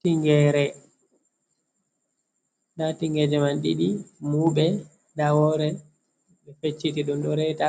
Tingere, nda tingeje man ɗiɗi muɓe, nda wore ɓe pecciti ɗum reta